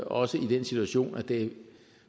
også i den situation at det